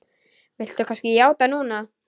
Viltu kannski játa núna?